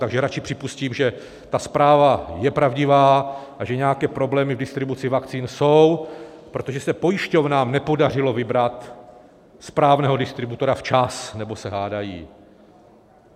Takže radši připustím, že ta zpráva je pravdivá a že nějaké problémy v distribuci vakcín jsou, protože se pojišťován nepodařilo vybrat správného distributora včas nebo se hádají.